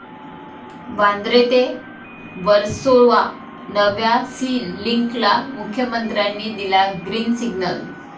वांद्रे ते वर्सोवा नव्या 'सी लिंक'ला मुख्यमंत्र्यांनी दिला 'ग्रिन सिग्नल'